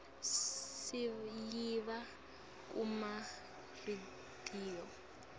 siyiva kuma rediyo